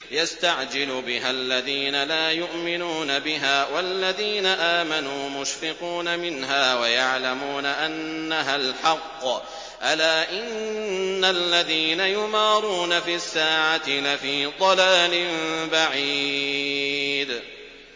يَسْتَعْجِلُ بِهَا الَّذِينَ لَا يُؤْمِنُونَ بِهَا ۖ وَالَّذِينَ آمَنُوا مُشْفِقُونَ مِنْهَا وَيَعْلَمُونَ أَنَّهَا الْحَقُّ ۗ أَلَا إِنَّ الَّذِينَ يُمَارُونَ فِي السَّاعَةِ لَفِي ضَلَالٍ بَعِيدٍ